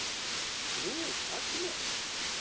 Nú, Agnes.